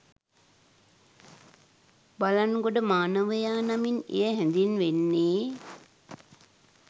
බළන්ගොඩ මානවයා නමින් එය හැඳින්වෙන්නේ